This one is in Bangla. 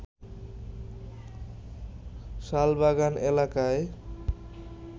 শালবাগান এলাকায়